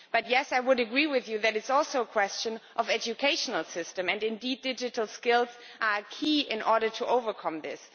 But yes, I would agree with you that it is also a question of the educational systems, and indeed digital skills are key in order to overcome this.